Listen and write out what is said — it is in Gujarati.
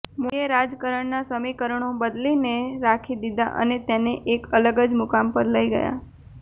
મોદીએ રાજકારણના સમીકરણો બદલીને રાખી દીધા અને તેને એક અલગ જ મુકામ પર લઈ ગયા